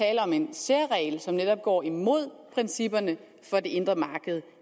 tale om en særregel som netop går imod principperne for det indre marked